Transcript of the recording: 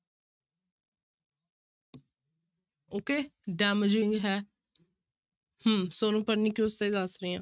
Okay damaging ਹੈ ਹਮ ਸੋਨੂੰ pernicious ਦਾ ਹੀ ਦੱਸ ਰਹੀ ਹਾਂ।